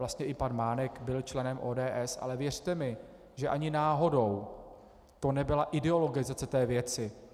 Vlastně i pan Mánek byl členem ODS, ale věřte mi, že ani náhodou to nebyla ideologizace té věci.